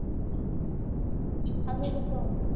ଆଗକୁ କହ